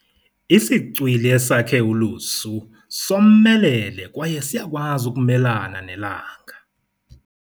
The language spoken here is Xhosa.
Isicwili esakhe ulusu somelele kwaye siyakwazi ukumelana nelanga.